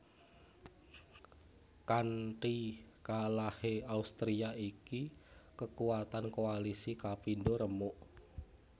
Kanti kalahé Austria iki kekuatan koalisi kapindo remuk